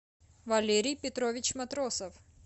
валерий петрович матросов